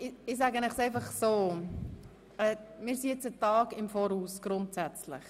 Wir haben mehr als einen Tag Vorsprung.